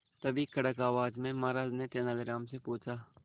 तभी कड़क आवाज में महाराज ने तेनालीराम से पूछा